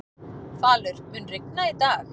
Falur, mun rigna í dag?